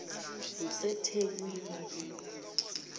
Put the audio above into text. kusethekwini